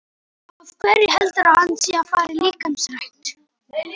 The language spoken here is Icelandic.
Af hverju heldurðu að hann sé að fara í líkamsrækt?